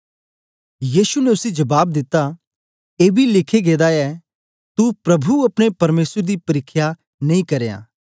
यीशु ने उसी जबाब दिता एबी लिखें गेदा ऐ तू प्रभु अपने परमेसर दी परिख्या नेई करयां